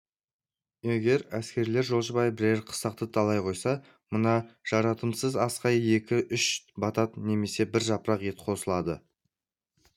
егер әскерлер жолшыбай бірер қыстақты талай қойса мына жарытымсыз асқа екі үш батат немесе бір жапырақ ет қосылады